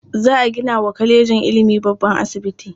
Za a gina wa kwalejin ilimin babban asibiti.